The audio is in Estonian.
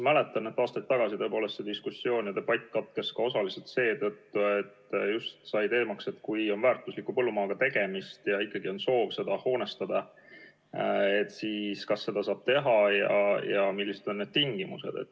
Ma mäletan, et aastaid tagasi tõepoolest see diskussioon ja debatt katkes osaliselt ka seetõttu, et kerkis küsimus, et kui on väärtusliku põllumaaga tegemist ja ikkagi on soov seda hoonestada, siis kas seda saab teha ja kui saab, siis millised on tingimused.